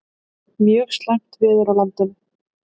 Mjög slæmt veður á landinu